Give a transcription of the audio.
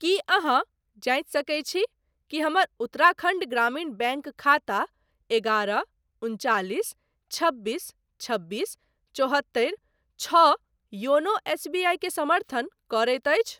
की अहाँ जाँचि सकैत छी कि हमर उत्तराखण्ड ग्रामीण बैंक खाता एगारह उनचालिस छब्बीस छबीस चौहत्तरि छओ योनो एसबीआई के समर्थन करैत अछि ?